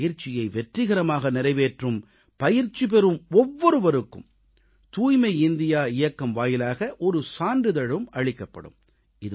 இந்தப் பயிற்சியை வெற்றிகரமாக நிறைவேற்றும் பயிற்சி பெறும் ஒவ்வொருவருக்கும் தூய்மை இந்தியா இயக்கம் வாயிலாக ஒரு சான்றிதழும் அளிக்கப்படும்